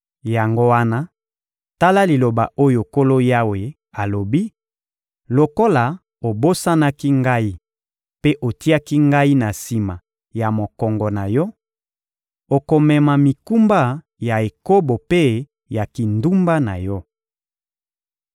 Yango wana, tala liloba oyo Nkolo Yawe alobi: Lokola obosanaki Ngai mpe otiaki Ngai na sima ya mokongo na yo, okomema mikumba ya ekobo mpe ya kindumba na yo.»